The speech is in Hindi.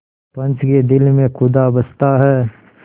पंच के दिल में खुदा बसता है